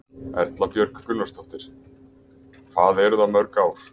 Erla Björg Gunnarsdóttir: Hvað eru það mörg ár?